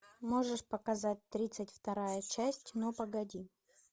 можешь показать тридцать вторая часть ну погоди